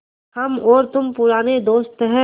हम और तुम पुराने दोस्त हैं